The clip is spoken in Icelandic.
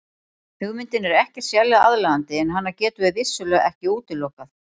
Hugmyndin er ekkert sérlega aðlaðandi en hana getum við vissulega ekki útilokað.